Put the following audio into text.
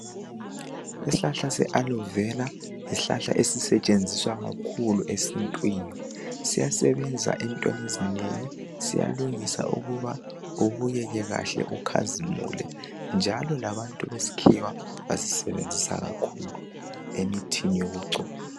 Isihlahla se Alovera yisihlahla esisetshenziswa kakhulu esintwini. Siyasebenza entweni ezinengi. Siyalungisa ukuba ubukeke kuhle ukhazimule njalo labantu besikhiwa basisebenzisa kakhulu emithini yokugcoba.